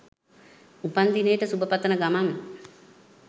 උපන්දිනේට සුබ පතන ගමන්